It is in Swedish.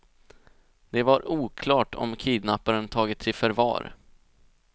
Det var oklart om kidnapparen tagits i förvar.